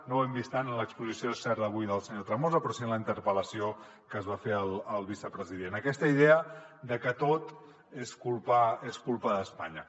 no ho hem vist tant en l’exposició és cert d’avui del senyor tremosa però sí en la interpel·lació que es va fer al vicepresident aquesta idea de que tot és culpa d’espanya